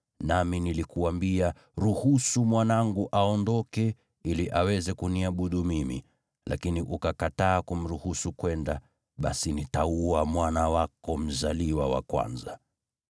nami nilikuambia, “Ruhusu mwanangu aondoke, ili aweze kuniabudu mimi.” Lakini ukakataa kumruhusu kwenda, basi nitaua mwana wako mzaliwa wa kwanza.’ ”